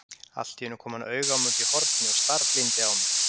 Alltíeinu kom hann auga á mig útí horni og starblíndi á mig.